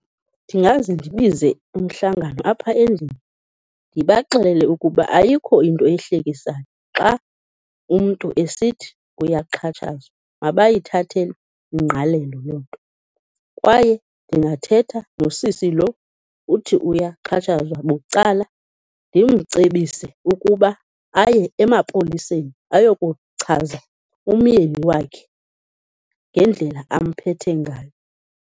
Ndingaze ndibize umhlangano apha endlini ndibaxelele ukuba ayikho into ehlekisayo xa umntu esithi uyaxhatshazwa, mabayithathele ingqalelo loo nto. Kwaye ndingathetha nosisi loo uthi uyaxhatshazwa bucala ndimcebise ukuba aye emapoliseni ayokuchaza umyeni wakhe, ngendlela amphethe ngayo.